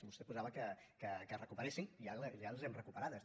vostè posava que es recuperessin i ara les hem recuperades